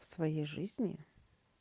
в своей жизни